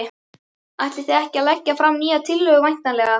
Ætlið þið ekki að leggja fram nýja tillögu væntanlega?